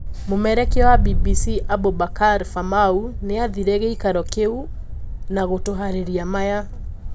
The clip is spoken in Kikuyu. Mumemerikia wa BBC Aboubakar Famau niathire giikaro-ini kiu na gutuhariria maya.